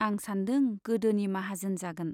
आं सान्दों, गोदोनि माहाजोन जागोन।